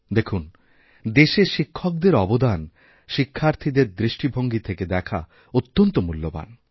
দেখুন দেশে শিক্ষকদেরঅবদান শিক্ষার্থীদের দৃষ্টিভঙ্গী থেকে দেখা অত্যন্ত মূল্যবান